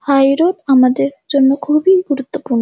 High road আমাদের জন্য খুবই গুরুত্বপূর্ণ।